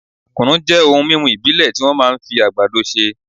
kùnú jẹ́ ohun mímú ìbílẹ̀ tí wọ́n máa ń fi àgbàdo ṣe